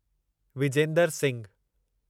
Vijender Singhu